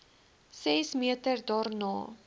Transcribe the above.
ses meter daarna